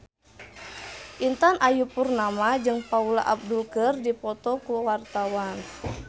Intan Ayu Purnama jeung Paula Abdul keur dipoto ku wartawan